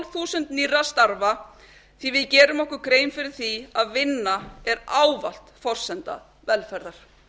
þúsund nýrra starfa því að við gerum okkur grein fyrir því að vinna er ávallt forsenda velferðar